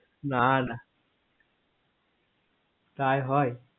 না না তাই হয়